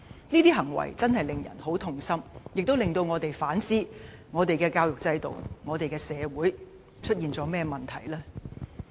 這些行為實在令人痛心，亦令我們反思，究竟我們的教育制度和社會出現了甚麼問題？